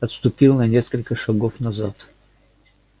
отступил на несколько шагов назад